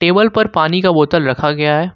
पर पानी का बोतल रखा गया है।